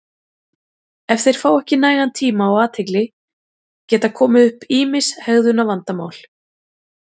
Ef þeir fá ekki nægan tíma og athygli geta komið upp ýmis hegðunarvandamál.